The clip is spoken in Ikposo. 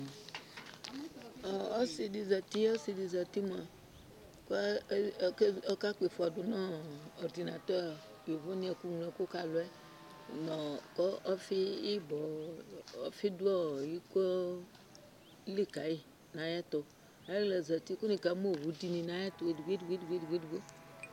Ɔsɩ dɩ zati Ɔsɩ dɩ mʋa kʋ ɔke ɔkakpɔ ɩfɔ dʋ ɔrdɩnat yovonɩ ɛkʋŋloɛkʋ ka alʋ yɛ nʋ ɔɔ kʋ ɔfɩ ɩbɔ ɔfɩ dʋ ɔɔ iko li ka yɩ nʋ ayɛtʋ Ayɩɣla zati kʋ nɩkamʋ owu dɩ nɩ nʋ ayɛtʋ edigbo edigbo